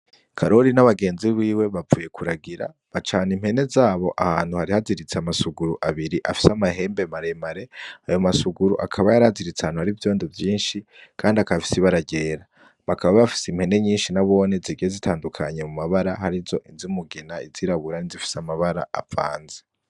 Karori n'abagenzi biwe bavuye kuragira, bacana impene zabo ahantu hari haziritse amasuguru abiri afise amahembe maremare, ayo masuguru akaba yaraziritse ahantu hari ivyondo vyinshi kandi akaba afise ibara ryera, bakaba bafise impene nyinshi nabone zigiye zitandukanye mu mabara, hariho izumugina, izirabura, n'izifise amabara avanze.